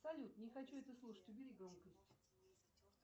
салют не хочу это слушать убери громкость